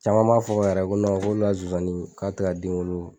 Caman m'a fɔ yɛrɛ ko k'olu ka zozani k'a tɛ ka den wolo.